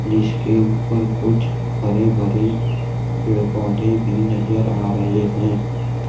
जिसके ऊपर कुछ हरे भरे पेड़ पौधे भी नजर आ रहे हैं।